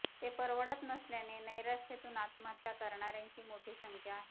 ते परवडत नसल्याने नैराश्यातून आत्महत्या करणाऱ्यांची मोठी संख्या आहे